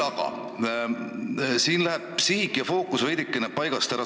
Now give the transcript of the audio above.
Aga siin läheb sihik ja fookus veidikene paigast ära.